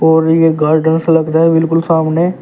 और ये गार्डन सा लग रहा है बिल्कुल सामने।